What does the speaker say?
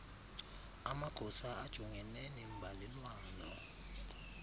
amagosa ajongene nembalelwano